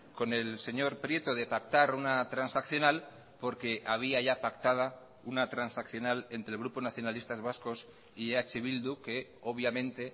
con el señor prieto de pactar una transaccional porque había ya pactada una transaccional entre el grupo nacionalistas vascos y eh bildu que obviamente